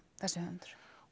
þessi höfundur